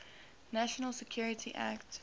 national security act